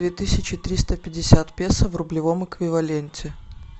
две тысячи триста пятьдесят песо в рублевом эквиваленте